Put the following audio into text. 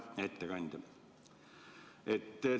Hea ettekandja!